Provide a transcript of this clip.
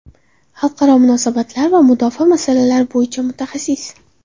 Xalqaro munosabatlar va mudofaa masalalari bo‘yicha mutaxassis.